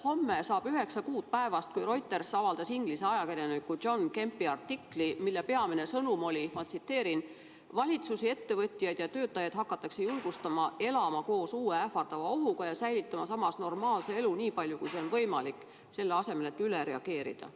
Homme saab üheksa kuud päevast, kui Reuters avaldas inglise ajakirjaniku John Kempi artikli, mille peamine sõnum oli: "Valitsusi, ettevõtjaid ja töötajaid hakatakse julgustama elama koos uue ähvardava ohuga ja säilitama samas normaalse elu nii palju, kui see on võimalik, selle asemel et üle reageerida.